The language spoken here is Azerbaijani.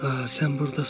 Hə, sən burdasan.